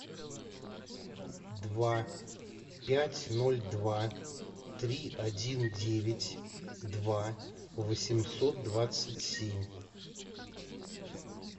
два пять ноль два три один девять два восемьсот двадцать семь